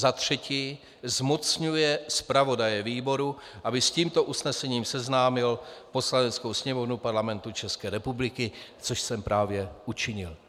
za třetí zmocňuje zpravodaje výboru, aby s tímto usnesením seznámil Poslaneckou sněmovnu Parlamentu České republiky - což jsem právě učinil.